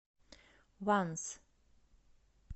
ванз